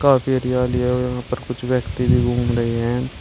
काफी एरिया लिए हुए वहां पर कुछ व्यक्ति भी घूम रहे हैं।